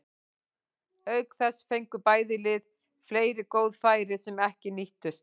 Auk þess fengu bæði lið fleiri góð færi sem ekki nýttust.